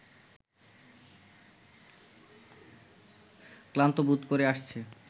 ক্লান্ত বোধ করে আসছে